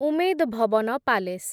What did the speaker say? Umaid Bhawan palace